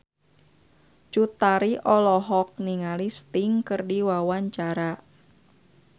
Cut Tari olohok ningali Sting keur diwawancara